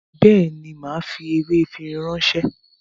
Béèni, màá fi ewé efinrin náà ránṣẹ́